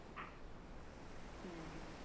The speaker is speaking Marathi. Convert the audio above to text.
हुं हुं